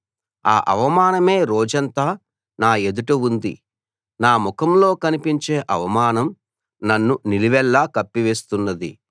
ఆ అవమానమే రోజంతా నా ఎదుట ఉంది నా ముఖంలో కనిపించే అవమానం నన్ను నిలువెల్లా కప్పివేస్తున్నది